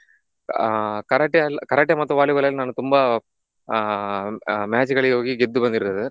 ಆಹ್ Karate ಅಲ್~ Karate ಮತ್ತು Volleyball ಅಲ್ಲಿ ನಾನು ತುಂಬಾ ಆಹ್ ಆಹ್ match ಗಳಿಗೆ ಹೋಗಿ ಗೆದ್ದು ಬಂದಿರುತ್ತೇನೆ.